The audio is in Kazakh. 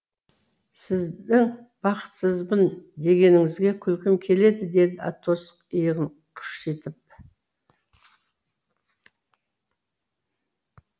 сіздің бақытсызбын дегеніңізге күлкім келеді деді атос иығын қушитып